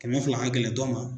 Kɛmɛ fila ka gɛlɛn dɔ ma.